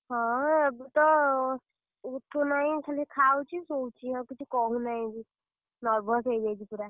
ହଁ ଏବେ ତ, ଉଠୁନାହିଁ ଖାଲି ଖାଉଛି ଶୋଉଛି ଆଉ କିଛି କହୁ ନାହିଁ ବି, ବି nervous ହେଇଯାଇଛି ପୁରା।